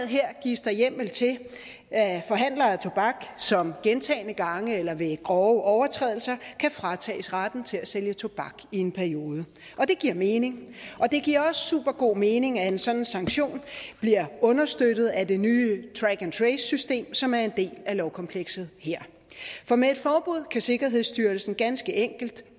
her gives der hjemmel til at forhandlere af tobak som gentagne gange overtræder eller ved grove overtrædelser kan fratages retten til at sælge tobak i en periode og det giver mening det giver også supergod mening at en sådan sanktion bliver understøttet af det nye track and trace system som er en del af lovkomplekset her for med et forbud kan sikkerhedsstyrelsen ganske enkelt